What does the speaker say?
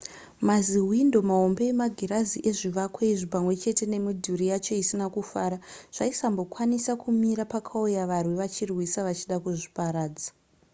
mazihwindo mahombe emagirazi ezvivako izvi pamwe chete nemidhuri yacho isina kufara zvaisambokwanisa kumira pakauya varwi vachirwisa vachida kuzviparadza